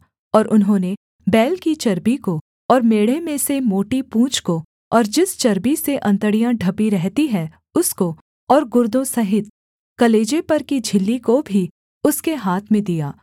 और उन्होंने बैल की चर्बी को और मेढ़े में से मोटी पूँछ को और जिस चर्बी से अंतड़ियाँ ढपी रहती हैं उसको और गुर्दों सहित कलेजे पर की झिल्ली को भी उसके हाथ में दिया